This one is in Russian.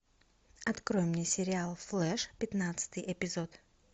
открой мне сериал флэш пятнадцатый эпизод